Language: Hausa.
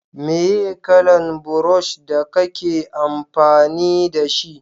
meye kalan burosh da kake amfani da shi?